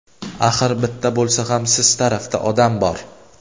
Axir bitta bo‘lsa ham siz tarafda odam bor.